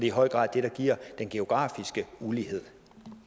i høj grad det der giver den geografiske ulighed